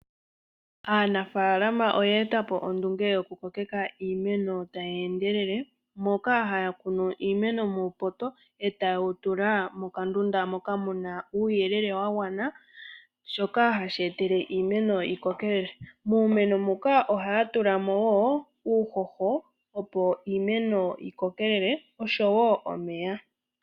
Aanafalama oya etapo ondunge yoku kokeka iimeno tayi endelela, moka haya kunu iimeno muupota, e taye wu tula mokandunda moka muna uuyele wa gwana, shoka hashi etele iimeno yikokelele. Miimeno muka ohaya tulamo wo uuhoho opo iimeno yi kokelele, oshowo omeya.